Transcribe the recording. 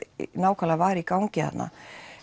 nákvæmlega var í gangi þarna